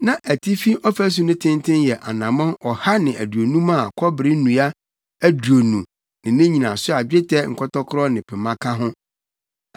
Na atifi ɔfasu no tenten yɛ anammɔn ɔha ne aduonum a kɔbere nnua aduonu ne ne nnyinaso a dwetɛ nkɔtɔkoro ne pema ka ho.